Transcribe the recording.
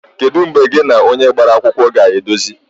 Kedu mgbe gị na onye gbara akwụkwọ ga-edozi?